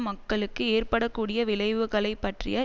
மக்களுக்கு ஏற்பட கூடிய விளைவுகளை பற்றிய